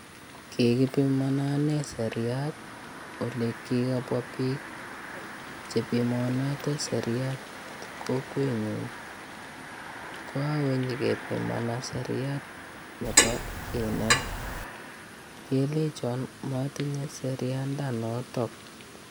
Kikipimana ane seriat ole kikabwa biik chepimanate seriat kokwenyu kokakonyepimana seriat nebo kinet kelechon matinye serianda nootok.